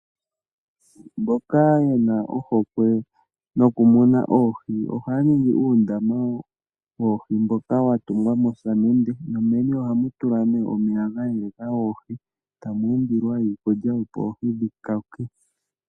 Mboka ye na ohokwe nokumuna oohi ohaya ningi uundama mboka wa tungwa mosamende nomeni ohamu tulwa omeya gayeleka oohi tamu umbilwa iikulya opo oohi dhikoke.